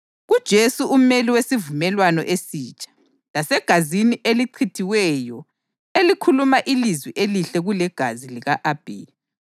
kuJesu umeli wesivumelwano esitsha, lasegazini elicheliweyo elikhuluma ilizwi elihle kulegazi lika-Abheli.